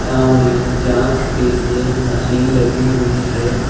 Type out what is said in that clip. सामने जांच के लिए मशीन लगी हुई है।